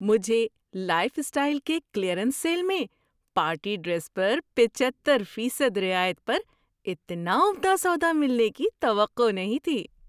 مجھے Lifestyle کے clearance sale میں پارٹی ڈریس پر پچہتر فیصد رعایت پر اتنا عمدہ سودا ملنے کی توقع نہیں تھی۔